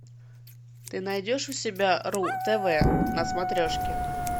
ты найдешь у себя ру тв на смотрешке